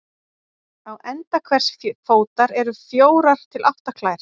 Á enda hvers fótar eru fjórar til átta klær.